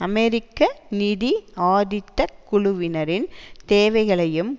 அமெரிக்க நிதி ஆதிக்கக் குழுவினரின் தேவைகளையும்